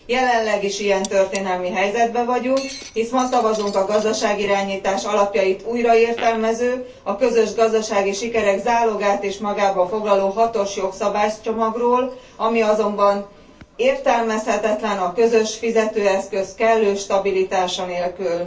Jelenleg is ilyen történelmi helyzetben vagyunk, hisz ma szavazunk a gazdasági irányítás alapjait újraértelmező, a közös gazdasági sikerek zálogát is magába foglaló hatos jogszabálycsomagról, ami azonban értelmezhetetlen a közös fizetőeszköz kellő stabilitása nélkül.